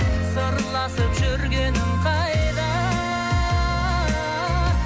сырласып жүргенің қайда